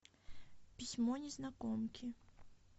письмо незнакомки